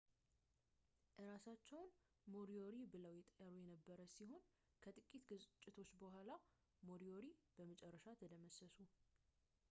እራሳቸውን moriori ብለው ይጠሩ የነበር ሲሆን ከጥቂት ግጭቶች በኋላ moriori በመጨረሻ ተደመሰሱ